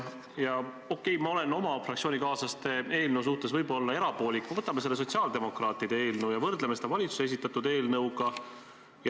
Okei, ma olen oma fraktsioonikaaslaste eelnõu suhtes võib-olla erapoolik, nii et võtame sotsiaaldemokraatide eelnõu ja võrdleme seda valitsuse esitatud eelnõuga.